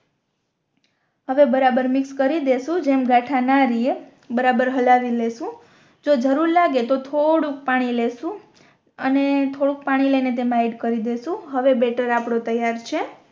આવે બરાબર મિક્સ કરી દેસુ જેમ ગાથા ન રિયે બરાબર હળવી લઈશું જો ધરું લાગે તો થોડું પાણી લેશુ અને થોડુક પાણી લઈ ને તેમા એડ કરી દેસુ હવે બેટર આફરો તૈયાર છે